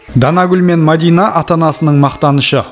данагүл мен мәдина ата анасының мақтанышы